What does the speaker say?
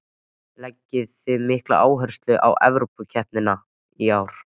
Leggið þið mikla áherslu á Evrópukeppnina í ár?